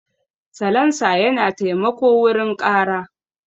Salansa yana taimako wurin ƙara.